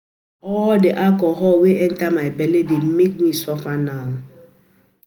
Na all the alcohol wey enter my bele dey make me suffer now